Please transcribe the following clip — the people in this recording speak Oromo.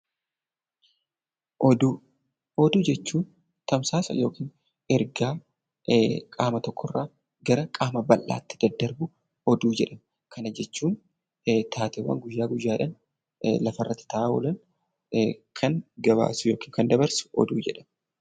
Oduu jechuun tamsaasa yookiin ergaa qaama tokkorraa gara qaama bal'aatti daddarbu oduu jedhama. Taateewwan guyyaa guyyaadhaan lafarratti ta'an kan gabaasu yookiin kan dabarsu oduu jedhama